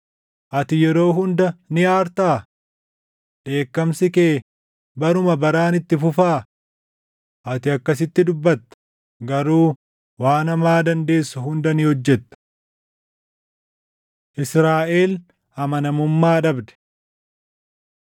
ati yeroo hunda ni aartaa? Dheekkamsi kee baruma baraan itti fufaa?’ Ati akkasitti dubbatta; garuu waan hamaa dandeessu hunda ni hojjetta.” Israaʼel Amanamummaa Dhabde